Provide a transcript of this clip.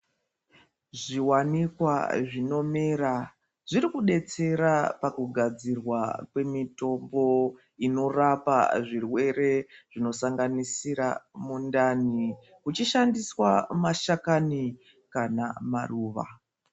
Zviwanikwa zvinomera zvirikudetsera pakugadzirwa kwemitombo inorapa zvirwere zvinosanganisira mundani uchishandiswa mashakani kana maruva.